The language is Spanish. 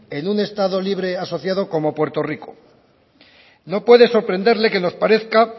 en un estado libre y asociado como puerto rico no pude sorprenderle que nos parezca